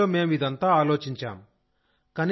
కాలేజీలో మేం ఇదంతా ఆలోచించాం